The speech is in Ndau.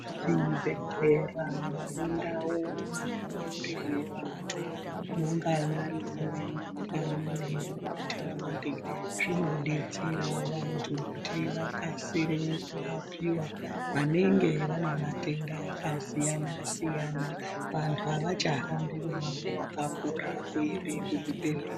Zvibhedhlera nendau dzinorapirwe vantu, munganyari muri mumakanyi nemumathaundi, zvinodetsera vantu kuti vakasire kurapiwa, vanenge vane matenda akasiyana-siyana. Vantu avachahambi mumango wakakura kuende kuzvibhedhleya.